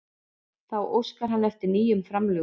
Þá óskar hann eftir nýjum framlögum